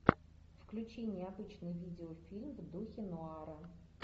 включи необычный видеофильм в духе нуара